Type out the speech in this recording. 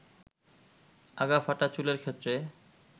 আগা ফাঁটা চুলের ক্ষেত্রে